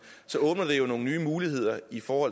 så åbner det jo nogle nye muligheder for